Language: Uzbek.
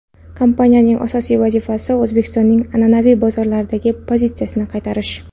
Kompaniyaning asosiy vazifasi O‘zbekistonning an’anaviy bozorlardagi pozitsiyasini qaytarish.